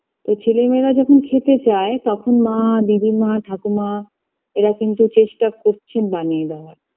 তো ছেলে মেয়েরা যখন খেতে চায় তখন মা দিদিমা ঠাকুমা এরা কিন্তু চেষ্ঠা করছেন বানিয়ে দেওয়ার